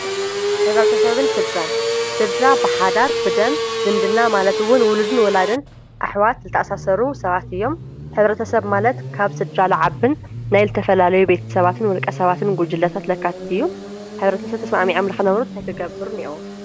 ሕብረተሰብን ስድራን-ስድራ ብሓዳር፣ ብደም ዝምድና ማለት እውን ውልድን ወላድን ኣሕዋት ዝተኣሳሰሩ ሰባት እዮም፡፡ ሕብረተሰብ ማለት ካብ ስድራ ልዓብን ናይ ዝተፈላለዩ ቤተሰባትን ውልቀሰባትን ጉጅለታት ለካትት እዩ፡፡ ሕብረተሰብ ተስማዕሚዖል ልኽነብሩ እንታይ ክገብሩ እኒኦዎም?